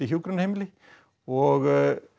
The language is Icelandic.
hjúkrunarheimili og